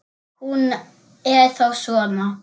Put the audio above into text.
Hún er þá svona!